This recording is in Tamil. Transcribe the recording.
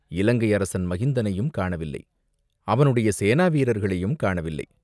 இலங்கை அரசன் மகிந்தனையும் காணவில்லை, அவனுடைய சேனா வீரர்களையும் காணவில்லை.